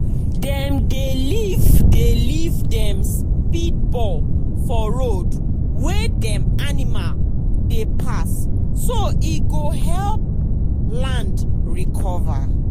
dem dey leave dey leave dem speedball for road wey dem animal dey pass so e go help land recover.